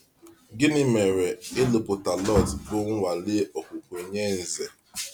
Gịnị mere ịlụ̀pụta Lọt bụ nnwale okwukwe nye Ǹzè?